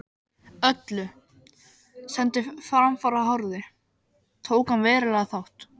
Öllu, sem til framfara horfði, tók hann verulegan þátt í.